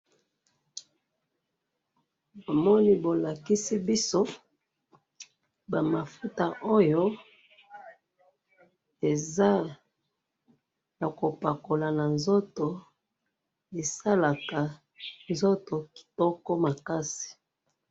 Oyo ezali ba mafuta ya ko pakola po nzoto ezala kitoko makasi.